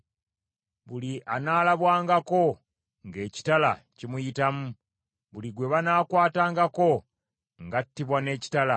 Buli anaalabwangako ng’ekitala kimuyitamu, buli gwe banaakwatangako ng’attibwa n’ekitala.